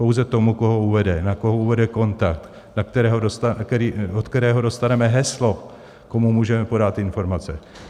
Pouze tomu, koho uvede, na koho uvede kontakt, od kterého dostaneme heslo, komu můžeme podat informace.